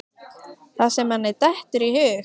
Það sem manni dettur í hug!